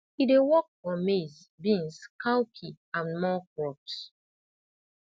e dey work for maize beans cowpea and more crops